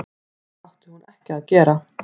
Það átti hún ekki að gera.